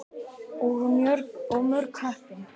Og mjög heppin!